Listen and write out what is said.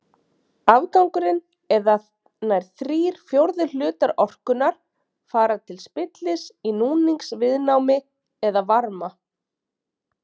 Afgangurinn eða nær þrír fjórðu hlutar orkunnar fara til spillis í núningsviðnámi eða varma.